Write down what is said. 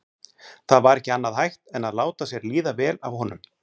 Það var ekki annað hægt en láta sér líða vel af honum.